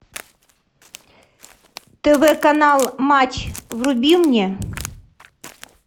тв канал матч вруби мне